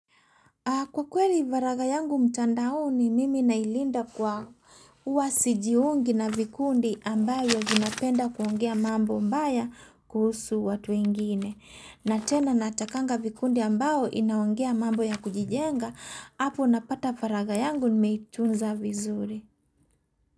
Kwa kweli maraga yangu mtandaoni, mimi nailinda kwa huwa sijiungi na vikundi ambayo linapenda kuongea mambo mbaya kuhusu watu wengine. Na tena natakanga vikundi ambao inaongea mambo ya kujijenga, hapo napata varaga yangu nimeitunza vizuri.